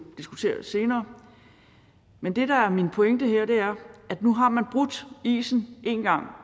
diskutere senere men det der er min pointe her er at nu har man brudt isen én gang